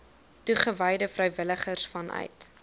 toegewyde vrywilligers vanuit